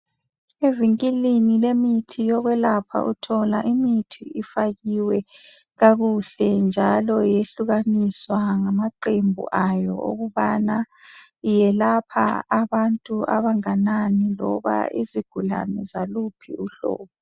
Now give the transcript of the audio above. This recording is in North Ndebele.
indlini ethengisa imithi yokwelapha uthola imithi ifakiwe kakuhle njalo iyehlukanisiwe ngamaqembu ayo wokuthi iyelapha abantu abanganani loba izigulane zaluphi uhlobo